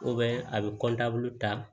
a bɛ ta